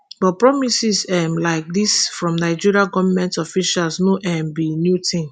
but promises um like dis from nigerian goment officials no um be new tin